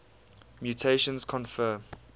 mutations confer